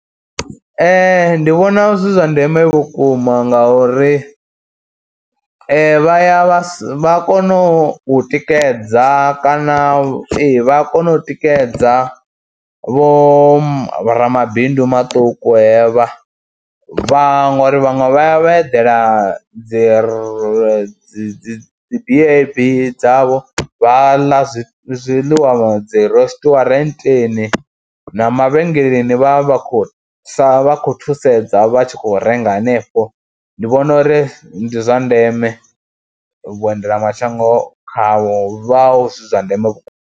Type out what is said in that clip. Ndi vhona zwi zwa ndeme vhukuma ngauri vha ya vha sa, vha ya kono u tikedza kana ee vha ya kona u tikedza vho ramabindu maṱuku hevha, vhaṅwe uri vhaṅwe vha ya vha eḓela dzi ri dzi BnB dzavho vha ḽa zwi zwiḽiwa dzi resiṱirwantweni na mavhengeleni vha vha khou sa vha khou thusedza vha tshi khou renga hanefho, ndi vhona uri ndi zwa ndeme vhuendelamashango khao hu vha zwi zwa ndeme vhukuma.